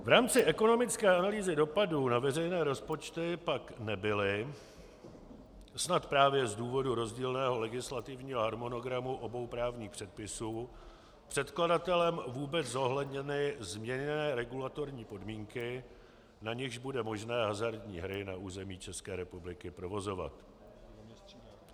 V rámci ekonomické analýzy dopadů na veřejné rozpočty pak nebyly snad právě z důvodu rozdílného legislativního harmonogramu obou právních předpisů předkladatelem vůbec zohledněny změněné regulatorní podmínky, na nichž bude možné hazardní hry na území České republiky provozovat.